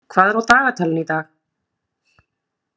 Athena, hvað er á dagatalinu í dag?